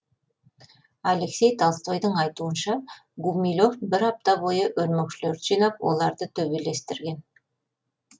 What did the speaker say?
алексей толстойдың айтуынша гумилев бір апта бойы өрмекшілерді жинап оларды төбелестірген